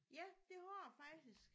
Ja det har jeg faktisk